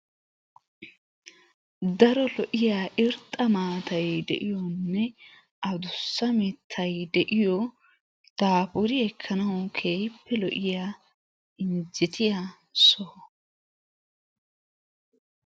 Daro lo'iya irxxa maatay wolaytta heeran beettiyaa lo'o zannaaqaa sohotun daro adussa saappe yiidda asati wolaytta wogaa mayuwaa mayidi shemppuwaa ayyanaa shemppisiyaa carkkuwaa eekkiidi beettoosona. ha sohuwaan daro lo'o shemppuwaa shemppisiyaa carkkoy de'ees. haashshukka gisiyaagee.